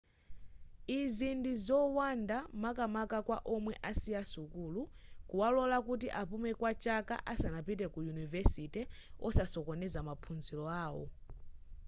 izi ndizowanda makamaka kwa omwe asiya sukulu kuwalola kuti apume kwa chaka asanapite ku yunivesite osasokoneza maphunziro awo